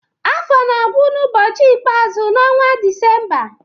Afọ na-agwụ n’ụbọchị ikpeazụ n'ọnwa Disemba.